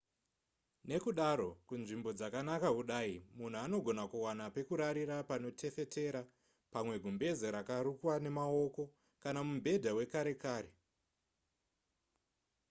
nekudaro kunzvimbo dzakanaka kudai munhu anogona kuwana pekurarira panotefetera pamwe gumbeze rakarukwa nemaoko kana mubhedha wekare kare